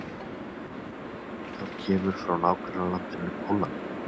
Það kemur frá nágrannalandinu Póllandi.